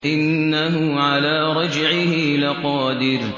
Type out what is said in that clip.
إِنَّهُ عَلَىٰ رَجْعِهِ لَقَادِرٌ